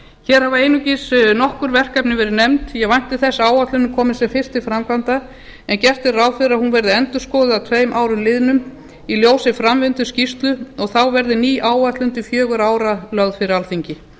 hér hafa einungis nokkur verkefni verið nefnd ég vænti þess að áætlunin komist sem fyrst til framkvæmda en gert er ráð fyrir að hún verði endurskoðuð að tveimur árum liðnum í ljósi framvinduskýrslu og þá verði ný áætlun til fjögurra ára lögð fyrir alþingi